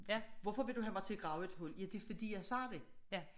Hvorfor vil du have mig til at grave et hul ja det fordi jeg siger det